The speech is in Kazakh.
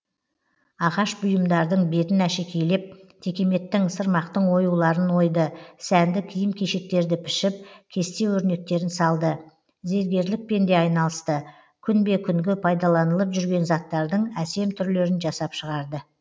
ағаш бұйымдардың бетін әшекейлеп текеметтің сырмақтың оюларын ойды сәнді киім кешектерді пішіп кесте өрнектерін салды зергерлікпен де айналысты күнбе күнгі пайдаланылып жүрген заттардың әсем түрлерін жасап шығарды